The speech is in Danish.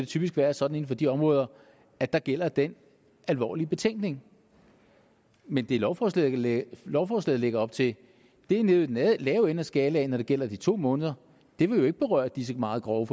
typisk være sådan inden for de områder at der gælder den alvorlige betænkning men det lovforslaget lægger lovforslaget lægger op til er nede i den lave ende af skalaen når det gælder de to måneder det vil jo ikke berøre disse meget grove